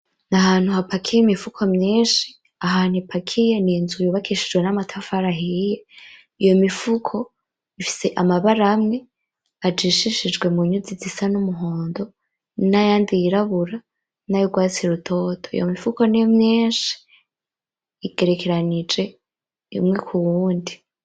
N'ahantu hapakiye imifuko myinshi ahantu ipakiye n'inzu yubakishijwe n'amatafari ahiye. Iyo mifuko ifise amabara amwe, ajishishijwe munyuzi zisa n'umuhondo, n'ayandi yirabura, n'ayurwatsi rutoto iyo mifuko ni myinshi igerekeranije umwe k'uwundi.